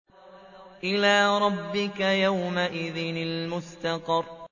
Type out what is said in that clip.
إِلَىٰ رَبِّكَ يَوْمَئِذٍ الْمُسْتَقَرُّ